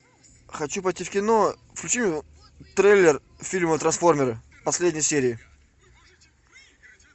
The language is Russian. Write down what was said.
хочу пойти в кино включи трейлер фильма трансформеры последние серии